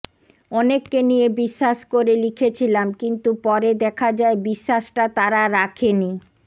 অনেককে নিয়ে বিশ্বাস করে লিখেছিলাম কিন্তু পরে দেখা যায় বিশ্বাসটা তারা রাখেনি